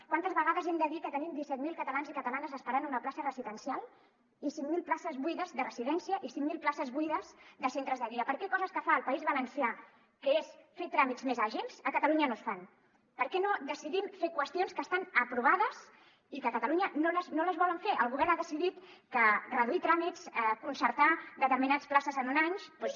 quantes vegades hem de dir que te·nim disset mil catalans i catalanes esperant una plaça residencial i cinc mil places buides de residència i cinc mil places buides de centres de dia per què coses que fa el país valencià que és fer tràmits més àgils a catalunya no es fan per què no decidim fer qüestions que estan aprovades i que a catalunya no es volen fer el go·vern ha decidit que reduir tràmits concertar determinades places en un any doncs